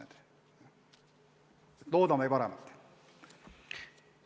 Aga loodame parimat!